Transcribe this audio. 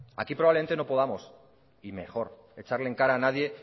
aquí probablemente no podamos y mejor echarle en cara a nadie